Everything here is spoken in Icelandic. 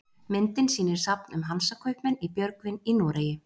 Myndin sýnir safn um Hansakaupmenn í Björgvin í Noregi.